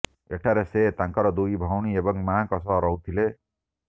ଏଠାରେ ସେ ତାଙ୍କର ଦୁଇ ଭଉଣୀ ଏବଂ ମାଆଙ୍କ ସହ ରହୁଥିଲେ